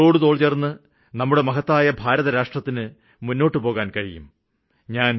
തോളോടുതോള് ചേര്ന്ന് നമ്മുടെ മഹത്തായ ഭാരതരാഷ്ട്രത്തിന് മുന്നോട്ടുപോകാന് ആകും